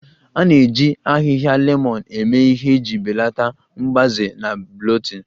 A na-eji ahịhịa lemon eme ihe iji belata mgbaze na bloating